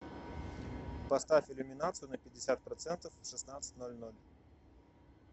поставь иллюминацию на пятьдесят процентов в шестнадцать ноль ноль